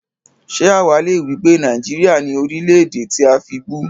Ṣé àwá le wípé Nàìjíríà ni Orílè-èdè tí a fibú?